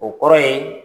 O kɔrɔ ye